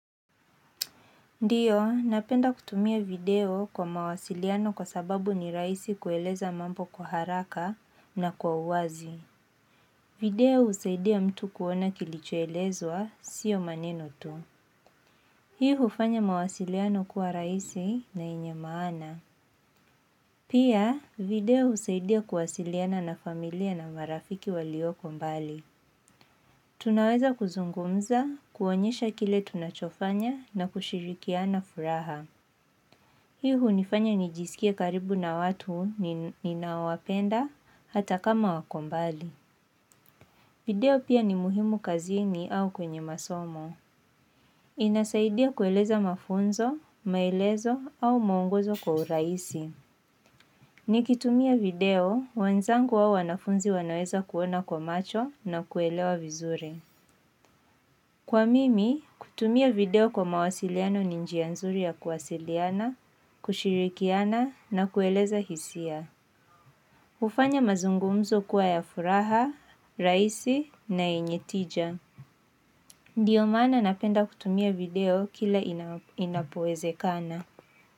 Ndio, napenda kutumia video kwa mawasiliano kwa sababu ni rahisi kueleza mambo kwa haraka na kwa uwazi. Video husaidia mtu kuona kilichoelezwa, sio manenu tu. Hii hufanya mawasiliano kuwa rahisi na yenye maana. Pia, video husaidia kuwasiliana na familia na marafiki walioko mbali. Tunaweza kuzungumza, kuonyesha kile tunachofanya na kushirikiana furaha. Hii hunifanya nijisikie karibu na watu ninaowapenda hata kama wako mbali. Video pia ni muhimu kazini au kwenye masomo. Inasaidia kueleza mafunzo, maelezo au mwongozo kwa urahisi. Nikitumia video, wenzangu au wanafunzi wanaweza kuona kwa macho na kuelewa vizuri. Kwa mimi, kutumia video kwa mawasiliano ni njia nzuri ya kuwasiliana, kushirikiana na kueleza hisia. Hufanya mazungumzo kuwa ya furaha, rahisi na yenye tija. Ndio maana napenda kutumia video kila inapowezekana.